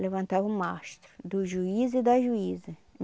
Levantava o mastro, do juiz e da juíza.